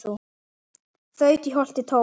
þaut í holti tóa